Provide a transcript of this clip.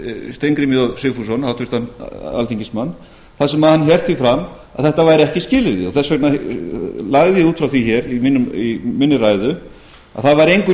við steingrím j sigfússon háttvirtan alþingismann þar sem hann hélt því fram að þetta væri ekki skilyrði þess vegna lagði ég út frá því hér í minni ræðu að það væri engu